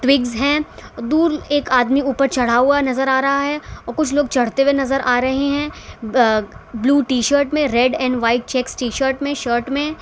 विगस है दूर एक आदमी ऊपर चढ़ा हुआ नजर आ रहा है और कुछ लोग चढ़ते हुए नजर आ रहे हैं अ ब्लू टी शर्ट में red and white check T shirt में शर्ट में--